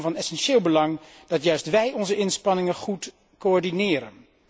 Het is daarom van essentieel belang dat juist wij onze inspanningen goed coördineren.